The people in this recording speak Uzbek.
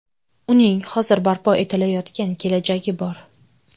Uning hozir barpo etilayotgan kelajagi bor.